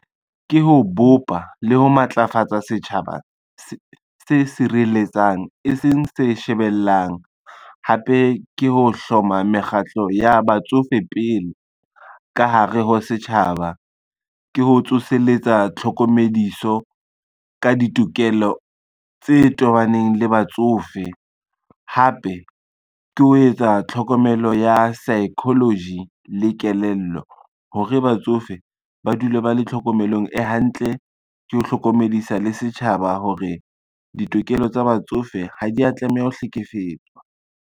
Ke ho bopa le ho matlafatsa setjhaba se sireletsang, e seng se shebellang, hape ke ho hloma mekgatlo ya batsofe pele ka hare ho setjhaba. Ke ho tsoseletsa tlhokomediso ka ditokelo tse tobaneng le batsofe hape ke ho etsa tlhokomelo ya psychology le kelello, hore batsofe ba dule ba le tlhokomelong e hantle, ke ho hlokomedisa le setjhaba hore ditokelo tsa batsofe ha dia tlameha ho hlekefetswa.